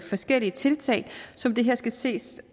forskellige tiltag som det her skal ses